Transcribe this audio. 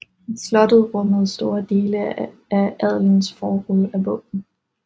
Slottet rummede store dele af adelens förråd af våben